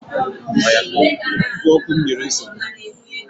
Ígwè ọkụ m nyere nsogbu